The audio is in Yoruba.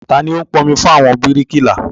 Tani o ń pọn omi fún àwọn bíríkìlà?